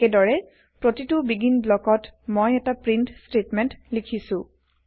একেদৰে প্ৰতিটো বেগিন ব্লকত মই এটা প্ৰীন্ট স্তেটমেন্ট লিখিছো